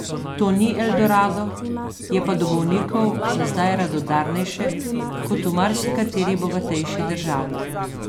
To ni eldorado, je pa do bolnikov za zdaj radodarnejše kot v marsikateri bogatejši državi.